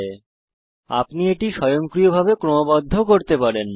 আপনি বুকমার্কস স্বয়ংক্রিয়ভাবেও ক্রমবদ্ধ করতে পারেন